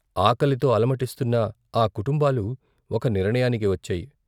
ఆకలితో అలమటిస్తున్న ఆ కుటుంబాలు ఒక నిర్ణయానికి వచ్చాయి.